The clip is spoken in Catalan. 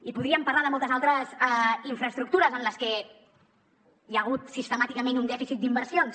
i podríem parlar de moltes altres infraestructures en les que hi ha hagut sistemàticament un dèficit d’inversions